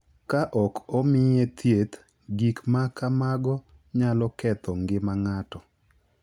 Ka ok omiye thieth, gik ma kamago nyalo ketho ngima ng’ato.